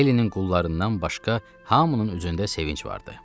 Heylinin qullarından başqa hamının üzündə sevinc vardı.